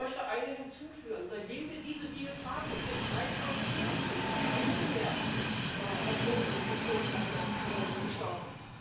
Ich möchte eine hinzufügen Seitdem wir diese Deals haben, sind 3000 Menschen im Mittelmeer ertrunken beziehungsweise gestorben.